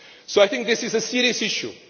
So I think this is a serious issue.